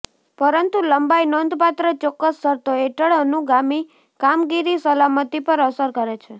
પરંતુ લંબાઈ નોંધપાત્ર ચોક્કસ શરતો હેઠળ અનુગામી કામગીરી સલામતી પર અસર કરે છે